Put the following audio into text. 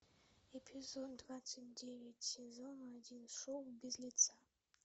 эпизод двадцать девять сезон один шоу без лица